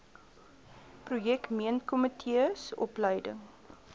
projek meentkomitees opleiding